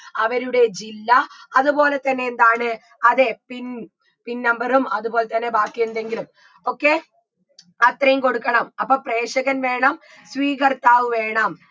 അവരുടെ ജില്ല അത്പോലെ തന്നെ എന്താണ് അതെ PINPINnumber ഉം അത്പോലെ തന്നെ ബാക്കിയെന്തെങ്കിലും okay അത്രയും കൊടുക്കണം അപ്പൊ പ്രേഷകൻ വേണം സ്വീകർത്താവ് വേണം